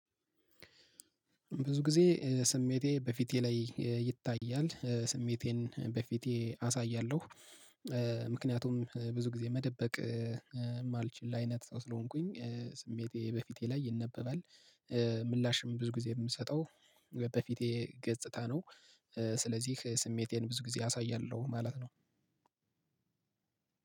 ብዙ ጊዜ ስሜቴ በፊቴ ላይ ይታያል ስሜቴን በፊቴ አሳያለሁ። ምክንያቱም ብዙ ጊዜ መደበቅ የማልችል አይነት ሰው ስለሆንኩኝ ስሜቴ በፊቴ ላይ ይነበባል። ምላሽም ብዙ ጊዜ የምሰጠው በፊቴ ገጽታ ነው። ስለዚህ ስሜቴን ብዙ ጊዜ አሳያለሁ ማለት ነው።